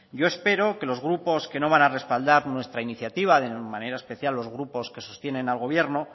yo espero que los grupos que no van a respaldar nuestra iniciativa de manera especial los grupos que sostienen al gobierno